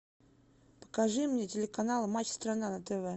покажи мне телеканал матч страна на тв